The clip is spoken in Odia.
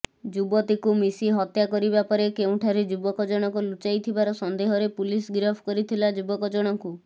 ଯୁବତୀକୁ ମିଶି ହତ୍ୟା କରିବା ପରେ କେଉଁଠାରେ ଯୁବକ ଜଣକ ଲୁଚାଇଥିବାର ସନ୍ଦେହରେ ପୁଲିସ ଗିରଫ କରିଥିଲା ଯୁବକଜଣକୁ